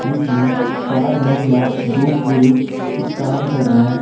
जिसमें चार महिला दो पुरुष कुछ काम कर रहे हैं।